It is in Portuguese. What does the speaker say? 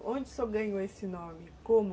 Onde o senhor ganhou esse nome? Como?